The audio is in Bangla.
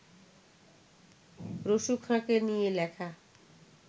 রসু খাঁকে নিয়ে লেখা